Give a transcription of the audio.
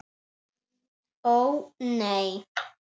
Ó, nei.